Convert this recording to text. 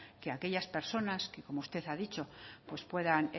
que aquellas personas que como usted ha dicho puedan